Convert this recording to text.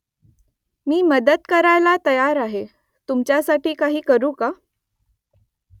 मी मदत करायला तयार आहे . तुमच्यासाठी काही करू का ?